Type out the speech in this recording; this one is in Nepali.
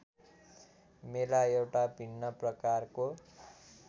मेला एउटा भिन्न प्रकारको